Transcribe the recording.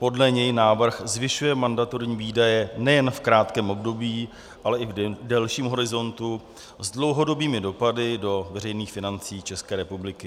Podle něj návrh zvyšuje mandatorní výdaje nejen v krátkém období, ale i v delším horizontu s dlouhodobými dopady do veřejných financí České republiky.